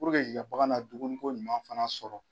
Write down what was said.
Puruje k'ika baga na dumuniko ɲuman fana sɔrɔ.